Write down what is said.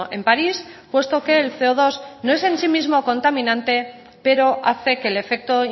en parís puesto que el ce o dos no en sí mismo contaminante pero hace que el efecto